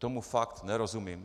Tomu fakt nerozumím.